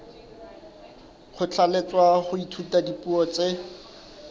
kgothalletswa ho ithuta dipuo tse